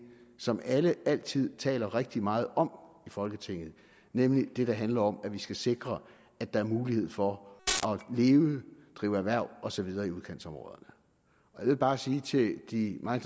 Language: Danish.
som alle altid taler rigtig meget om i folketinget nemlig det der handler om at vi skal sikre at der er mulighed for at leve drive erhverv og så videre i udkantsområderne jeg vil bare sige til de meget